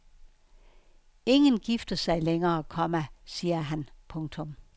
Ingen gifter sig længere, komma siger han. punktum